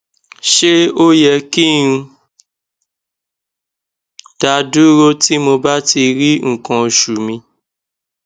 se o ye ki n daduro ti mo ba ti ri nkan osu mi